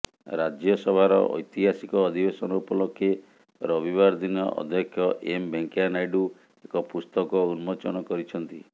ରାଜ୍ୟସଭାର ଐତିହାସିକ ଅଧିବେଶନ ଉପଲକ୍ଷେ ରବିବାର ଦିନ ଅଧ୍ୟକ୍ଷ ଏମ୍ ଭେଙ୍କୟା ନାଇଡୁ ଏକ ପୁସ୍ତକ ଉନ୍ମୋଚନ କରିଛନ୍ତି